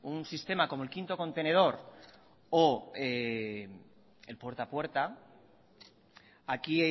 un sistema como el quinto contenedor o el puerta a puerta aquí